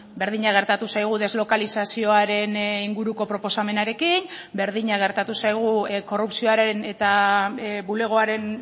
berdina gertatu zaigu deslokalizazioaren inguruko proposamenarekin berdina gertatu zaigu korrupzioaren eta bulegoaren